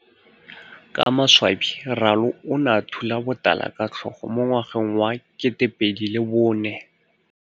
Ka maswabi Ralo o ne a thula botala ka tlhogo mo ngwageng wa 2004.